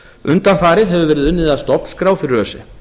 undanfarið hefur verið unnið að stofnskrá fyrir öse